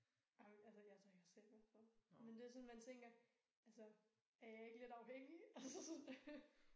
Ej men altså jeg drikker selv ret meget men det sådan man tænker altså er jeg ikke lidt afhængig altså sådan øh